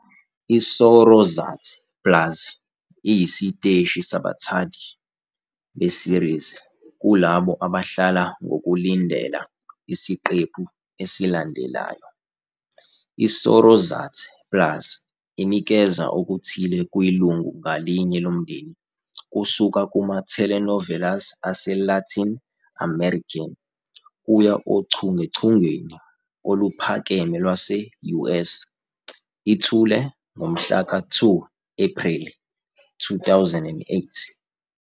ISorozat plus iyisiteshi sabathandi be-series - kulabo abahlala ngokulindela isiqephu esilandelayo. ISorozat plus inikeza okuthile kwilungu ngalinye lomndeni, kusuka kuma-telenovelas aseLatin-American kuya ochungechungeni oluphakeme lwase-US. Ithule ngomhlaka 2 Ephreli 2008.